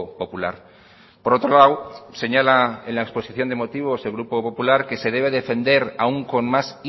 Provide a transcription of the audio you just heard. popular por otro lado señala en la exposición de motivos el grupo popular que se debe defender aún con más